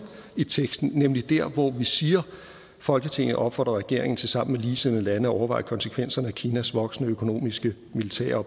i teksten nemlig der hvor vi siger at folketinget opfordrer regeringen til sammen med ligesindede lande at overveje konsekvenserne af kinas voksende økonomiske politiske og